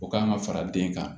O kan ka fara den kan